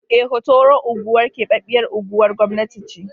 Eh, Hotoro unguwar keɓaɓɓyar unguwar gwamnati ce.